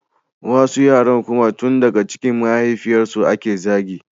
Wasu yaran kuma tun daga cikin mahaifiyarsu ake zagi